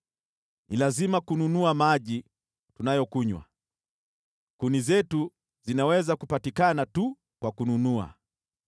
Ni lazima tununue maji tunayokunywa, kuni zetu zapatikana tu kwa kununua.